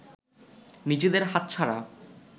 নিজেদের হাতছাড়া